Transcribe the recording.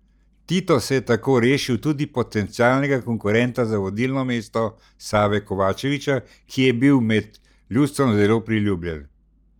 Tito se je tako rešil tudi potencialnega konkurenta za vodilno mesto Save Kovačevića, ki je bil med ljudstvom zelo priljubljen.